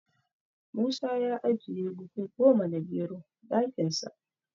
Musa ya ajiye buhu goma na gero a ɗakinsa.